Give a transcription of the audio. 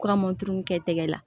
Kura moto kɛ tɛgɛ la